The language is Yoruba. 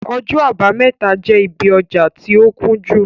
Ọjọ àbámẹ́ta jẹ́ ibí ọjà tí ó kúnjú